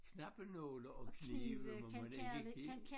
Knappenåle og knive må man ikke give